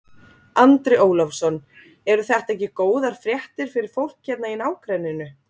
Andri Ólafsson: Eru þetta ekki góðar fréttir fyrir fólk hérna í nágrenninu?